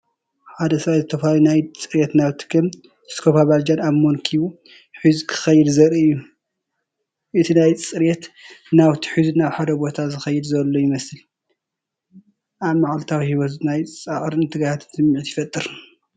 ሓደ ሰብኣይ ዝተፈላለዩ ናይ ጽሬት ናውቲ ከም ስኮፓ ባልጃን ኣብ መንኵቡ ሒዙ ክኸይድ ዘርኢ እዩ። ነቲ ናይ ጽሬት ናውቲ ሒዙ ናብ ሓደ ቦታ ዝኸይድ ዘሎ ይመስል። ኣብ መዓልታዊ ህይወት ናይ ጻዕርን ትግሃትን ስምዒት ይፈጥር።